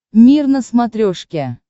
мир на смотрешке